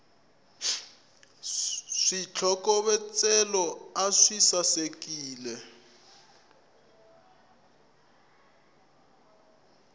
switlokovetselo a swi saleki